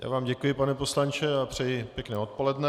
Já vám děkuji, pane poslanče, a přeji pěkné odpoledne.